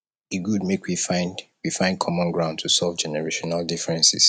e good make we find we find common ground to solve generational differences